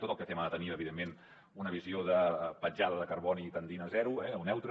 tot el que fem ha de tenir evidentment una visió de petjada de carboni tendent a zero o neutra